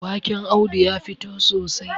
waken Audu ya fito sosai